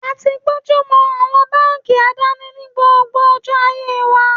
A ti gbónjú mọ àwọn báńkì àdáni ní gbogbo ọjọ́ ayé wa.